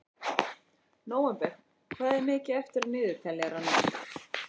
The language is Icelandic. Nóvember, hvað er mikið eftir af niðurteljaranum?